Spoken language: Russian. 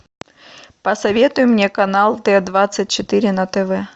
посоветуй мне канал т двадцать четыре на тв